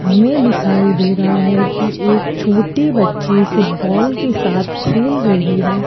हमें दिखाई दे रहा है कि एक छोटी बच्ची फुटबॉल के साथ खेल रही है।